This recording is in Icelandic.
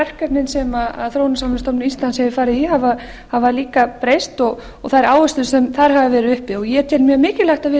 verkefnin sem þróunarsamvinnustofnun íslands hefur farið í hafa líka breyst og þær áherslur sem þar hafa verið uppi ég tel mjög mikilvægt að við